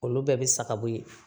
Olu bɛɛ bɛ saga bɔ yen